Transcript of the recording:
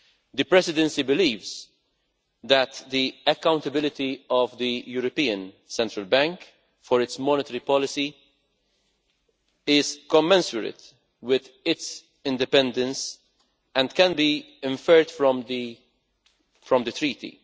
The Presidency believes that the accountability of the European Central Bank for its monetary policy is commensurate with its independence and can be inferred from the Treaty.